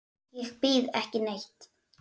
SKÚLI: Ég býð ekki neitt.